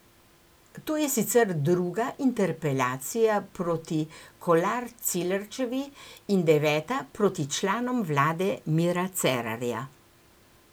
To je sicer druga interpelacija proti Kolar Celarčevi in deveta proti članom vlade Mira Cerarja.